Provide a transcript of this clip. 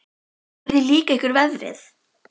Jóhanna Margrét: Hvernig líka ykkur veðrið?